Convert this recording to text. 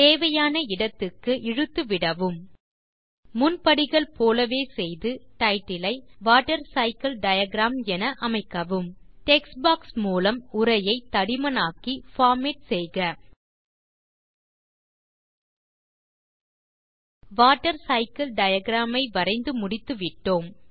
தேவையான இடத்துக்கு இழுத்து விடவும் முன் படிகள் போலவே செய்து Titleஐ வாட்டர்சைக்கில் டயாகிராம் என அமைக்கவும் டெக்ஸ்ட் பாக்ஸ் மூலம் உரையை தடிமனாக்கி பார்மேட் செய்க வாட்டர் சைக்கிள் டயாகிராம் ஐ வரைந்து முடித்துவிட்டோம்